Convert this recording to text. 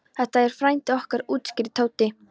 Þetta er frændi okkar útskýrði Tóti.